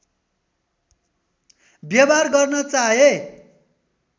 व्यवहार गर्न चाहे